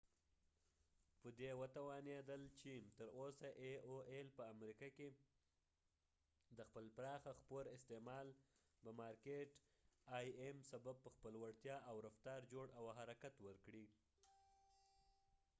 تر اوسه ای او ایل aol په دي توانیدلی چې په امریکه کې د خپل پراخه خپور استعمال به سبب په خپل وړتیا او رفتار آی امim مارکېټ جوړ او حرکت ورکړي